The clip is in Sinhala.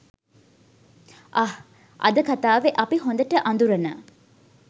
අහ් අද කතාවෙ අපි හොඳට අඳුරන